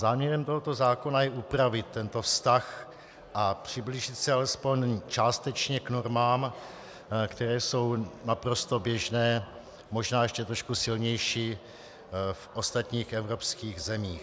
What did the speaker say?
Záměrem tohoto zákona je upravit tento vztah a přiblížit se alespoň částečně k normám, které jsou naprosto běžné, možná ještě trochu silnější, v ostatních evropských zemích.